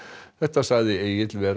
þetta sagði Egill vera